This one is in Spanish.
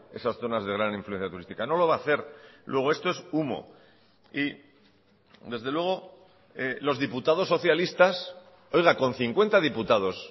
esas zonas de gran influencia turística no lo va a hacer luego esto es humo y desde luego los diputados socialistas oiga con cincuenta diputados